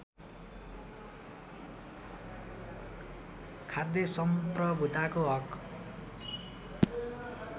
खाद्य सम्प्रभुताको हक